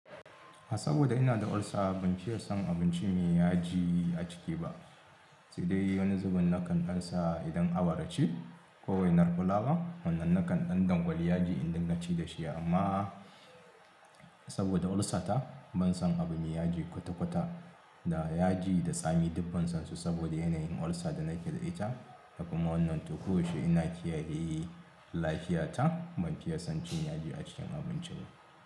Saboda ina da ulcer ban fiye son abinci me yaji a ciki ba. Sai dai wani zubin na kan ɗansa idan awara ce ko waiar fulawa wannan na kan ɗan dangwali yaji idinga ci da shi amma saboda ulcer ta ban son abu me yaji kwata-kwata. Da yaji da tsami dubban sansu saboda yanayin ulcer da nake da ita. Hakuma wannan to koyaushe ina kiyaye lafiyata ban fiye son cin yaji a cikin abinci ba.